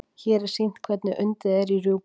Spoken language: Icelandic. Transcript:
hér er sýnt hvernig undið er í rjúpu